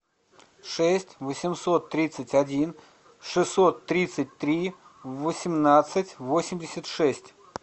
шесть восемьсот тридцать один шестьсот тридцать три восемнадцать восемьдесят шесть